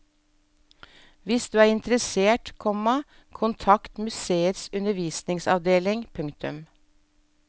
Hvis du er interessert, komma kontakt museets undervisningsavdeling. punktum